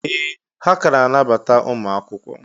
Ee! Ha ka na-anabata ụmụ akwụkwọ.